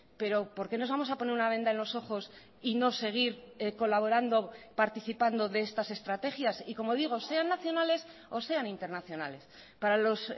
pero por qué nos vamos a poner una venda en los ojos y no seguir colaborando participando de estas estrategias y como digo sean nacionales o sean internacionales para los